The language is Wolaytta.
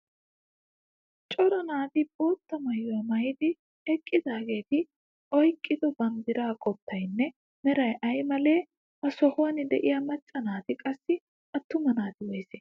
Cora naati bootta maayuwa maayidi eqqidaageeti oyqqido banddiraa qottaynne meray ay malee? Ha sohuwan de'iya macca naatinne qassi attuma naati woysee?